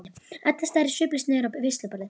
Edda starir sviplaus niður á veisluborð.